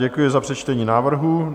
Děkuji za přečtení návrhu.